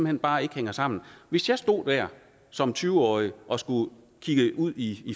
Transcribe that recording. hen bare ikke hænger sammen hvis jeg stod der som tyve årig og skulle kigge ud i